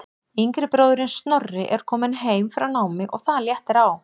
Yngri bróðirinn Snorri er kominn heim frá námi og það léttir á.